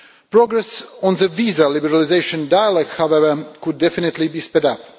Progress on the visa liberalisation dialogue, however, could definitely be speeded up.